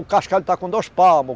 O cascalho está com dois palmos.